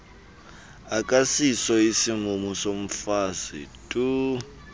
akasiso isimumu somfazi